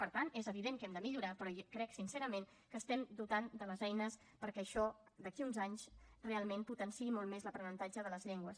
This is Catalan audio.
per tant és evident que hem de millorar però crec sincerament que estem dotant de les eines perquè això d’aquí a uns anys realment potenciï molt més l’aprenentatge de les llengües